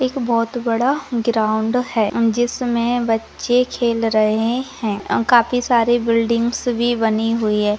एक बहुत बड़ा ग्राउंड है जिसमें बच्चे खेल रहे हैं और काफी सारे बिल्डिंग बनी हुई है।